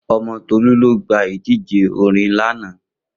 Omo Tolu lo gba idije orin lana